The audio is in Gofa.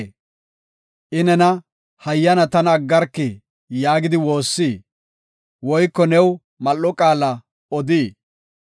I nena, ‘Hayyana tana aggarki’ yaagidi woossii? Woyko new mal7o qaala odii?